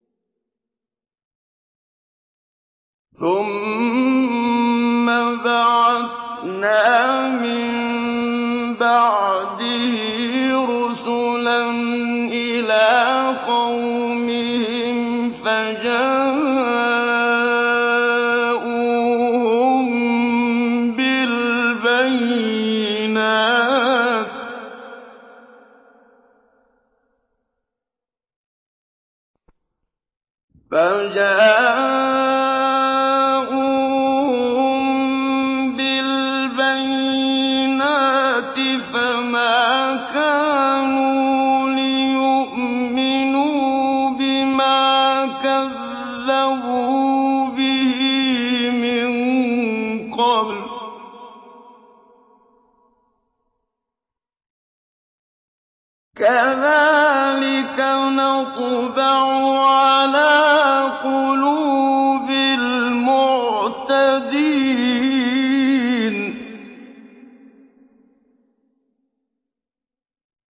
ثُمَّ بَعَثْنَا مِن بَعْدِهِ رُسُلًا إِلَىٰ قَوْمِهِمْ فَجَاءُوهُم بِالْبَيِّنَاتِ فَمَا كَانُوا لِيُؤْمِنُوا بِمَا كَذَّبُوا بِهِ مِن قَبْلُ ۚ كَذَٰلِكَ نَطْبَعُ عَلَىٰ قُلُوبِ الْمُعْتَدِينَ